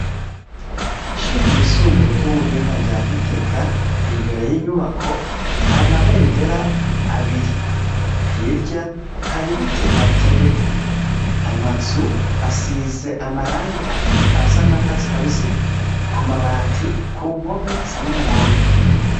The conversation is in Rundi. Ishu ryisumbuye ry'ubuhinga rya gitega imbere y'inyubako hari amabendera abiri hirya hari ibiti bihateye amazu asize amarange asa nakatsi kabisi ku mabati ku mpome asa n'umuhondo.